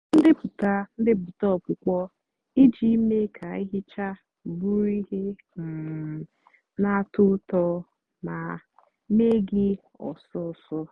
tọọ ndepụta ndepụta ọkpụkpọ íjì mée kà íhíchá bụrụ íhè um nà-àtọ útọ mà mée gị ósósó.